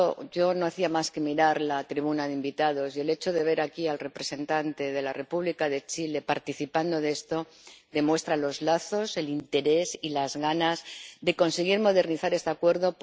Yo no hacía más que mirar la tribuna de invitados y, el hecho de ver aquí al representante de la República de Chile participando en este debate, demuestra los lazos, el interés y las ganas de conseguir modernizar este Acuerdo.